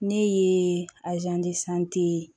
Ne ye